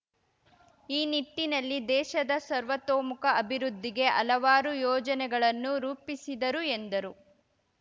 ಈ ನಿಟ್ಟಿನಲ್ಲಿ ದೇಶದ ಸರ್ವತೋಮುಖ ಅಭಿವೃದ್ಧಿಗೆ ಹಲವಾರು ಯೋಜನೆಗಳನ್ನು ರೂಪಿಸಿದರು ಎಂದರು